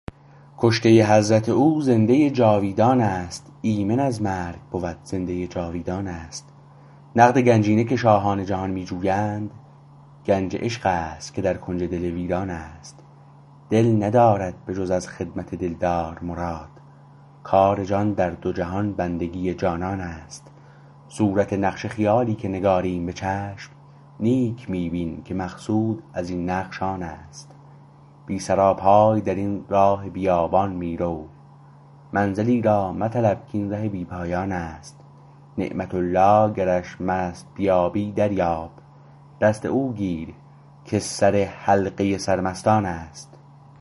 کشته حضرت او زنده جاویدانست ایمن از مرگ بود زنده جاوید آنست نقد گنجینه که شاهان جهان می جویند گنج عشقست که در کنج دل ویرانست دل ندارد به جز از خدمت دلدار مراد کار جان در دو جهان بندگی جانانست صورت نقش خیالی که نگاریم به چشم نیک می بین که مقصود از این نقش آنست بی سراپای درین راه بیابان می رو منزلی را مطلب کاین ره بی پایانست نعمت الله گرش مست بیابی دریاب دست او گیر که سر حلقه سر مستانست